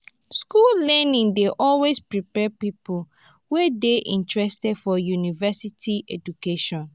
school learning dey usually prepare pipo wey dey interested for university education